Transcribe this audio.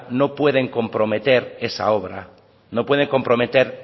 no pueden comprometer esa obra no pueden comprometer